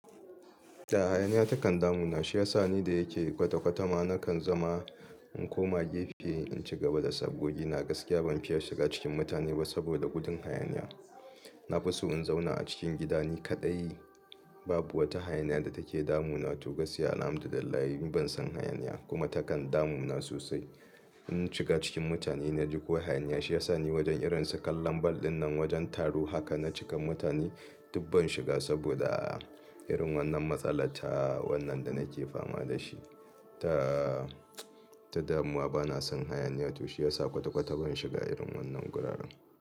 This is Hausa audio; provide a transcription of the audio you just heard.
Ta hayaniya ta kan damu na, shi ya sa ni da yake gwate-gwata ma na kan zama in koma gefe in ci gaba da sabgogi. Ni na gaskiya ban fiya shiga cikin mutane ba saboda gudun hayaniya. Na fi so in zauna a cikin gida ni kaɗai. Babu wata hayaniya da take damuna to gaskiya. Alhamdu lillahi ban san hayaniya kuma ta kan damu na sosai. In na shiga cikin mutane na ji ko hayaniya, shi ya sa ni wajen irin su kallon ball ɗinnan wajen taro haka na cika mutane duk ban shiga saboda irin wannan matsala ta wannan da nake fama da shi. Ta, ta damuwa bana son hayaniya to shi ya sa kwata-kwata ban shiga irin wannan gurara.